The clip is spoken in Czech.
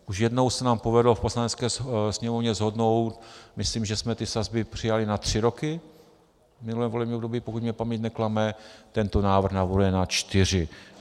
Už jednou se nám povedlo v Poslanecké sněmovně shodnout, myslím, že jsme ty sazby přijali na tři roky v minulém volebním období, pokud mě paměť neklame, tento návrh navrhuje na čtyři.